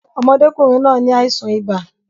Ọmọdékùnrin náà ni àìsàn ibà